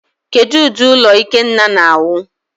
Kedu ụdị ụlọ Ikenna na-awụ?